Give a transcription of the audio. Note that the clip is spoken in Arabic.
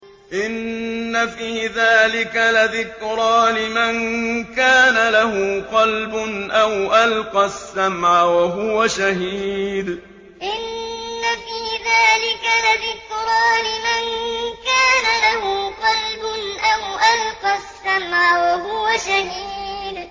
إِنَّ فِي ذَٰلِكَ لَذِكْرَىٰ لِمَن كَانَ لَهُ قَلْبٌ أَوْ أَلْقَى السَّمْعَ وَهُوَ شَهِيدٌ إِنَّ فِي ذَٰلِكَ لَذِكْرَىٰ لِمَن كَانَ لَهُ قَلْبٌ أَوْ أَلْقَى السَّمْعَ وَهُوَ شَهِيدٌ